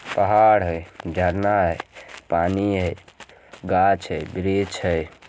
पहाड़ है जरना है पानी हे घास हे ग्रेच हे।